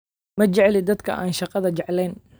Ma jecli dadka aan shaqada jeclayn